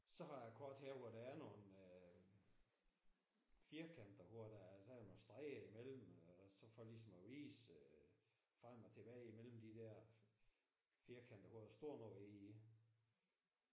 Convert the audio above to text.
Så har jeg et kort her hvor der er nogle firkanter hvor der er der er nogle streger imellem så for ligesom at vise at frem og tilbage mellem de der firkanter hvor der står noget inde i